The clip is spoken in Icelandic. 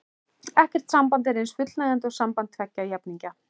Ekkert samband er eins fullnægjandi og samband tveggja jafningja.